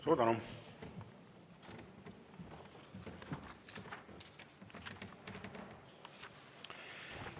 Suur tänu!